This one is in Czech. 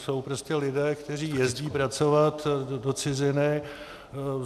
Jsou prostě lidé, kteří jezdí pracovat do ciziny.